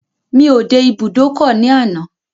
Mi ò dé ibùdókọ̀ ní àná.